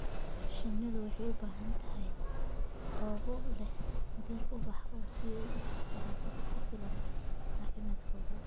Shinnidu waxay u baahan tahay goobo leh dhir ubax leh si ay u siiso nafaqo ku filan caafimaadkooda.